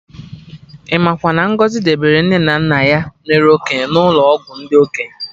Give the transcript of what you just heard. Imakwa na Ngozi debere nne na nna ya mere okenye n'ụlọ ọgwụ ndị okenye